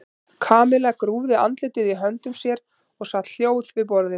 Kamilla grúfði andlitið í höndum sér og sat hljóð við borðið.